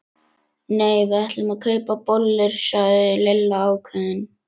Nei, við ætlum að kaupa bollur sagði Lilla ákveðin.